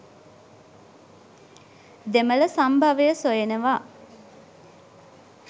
දෙමළ සම්භවය සොයනවා.